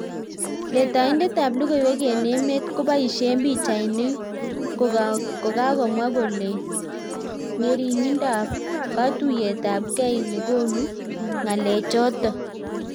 Letaindet ap logoiwek eng emeet kopaisein pichainik kokakomwa kolee ngeringindop katuiyet ap gei negonuu ngalee chotok